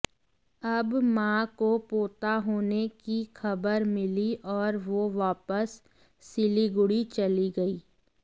अब मां को पोता होने की खबर मिली और वो वापस सिलीगुड़ी चली गई